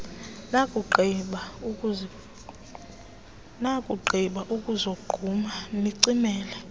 nakugqiba ukuzogquma nicimele